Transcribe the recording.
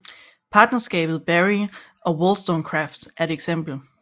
Partnerskabet Berry and Wollstonecraft er et eksempel